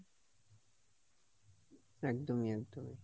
একদমই, একদমই,